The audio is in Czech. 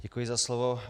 Děkuji za slovo.